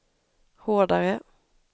hårdare